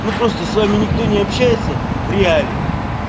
ну просто с вами никто не общается в реале